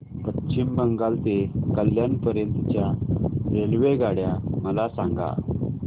पश्चिम बंगाल ते कल्याण पर्यंत च्या रेल्वेगाड्या मला सांगा